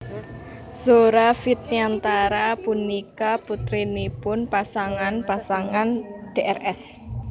Zora Vidyantara punika putrinipun pasangan pasangan Drs